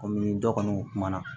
Kɔmi dɔ kɔni kumana